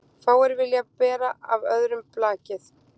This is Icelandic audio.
Fáir vilja bera af öðrum blakið.